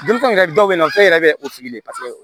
Denmisɛnw yɛrɛ dɔw bɛ na o tɛ e yɛrɛ bɛ o tigi ye paseke